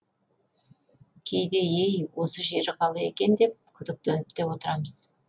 кейде ей осы жері қалай екен деп күдіктеніп те отырамыз